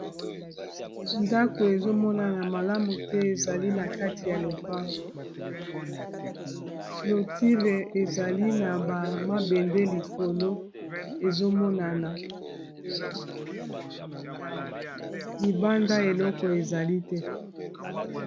ndako ezomonana malamu te ezali na kati ya lopango clotire ezali na bamabende likolo ezomonana libanda eloko ezali te